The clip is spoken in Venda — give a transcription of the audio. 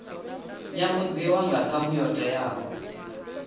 nyambudziwa nga ṱhamu yo teaho